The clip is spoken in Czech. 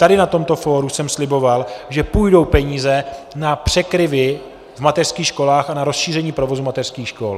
Tady na tomto fóru jsem sliboval, že půjdou peníze na překryvy v mateřských školách a na rozšíření provozu mateřských škol.